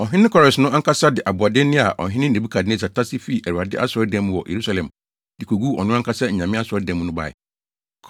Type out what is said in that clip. Ɔhene Kores no ankasa de aboɔdenne a ɔhene Nebukadnessar tase fii Awurade asɔredan mu wɔ Yerusalem de koguu ɔno ankasa anyame asɔredan mu no bae.